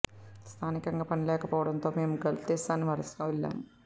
స్థానికంగా పని లేకపోవడంతోనే మేము గల్ఫ్ దేశానికి వలస వెళ్లాం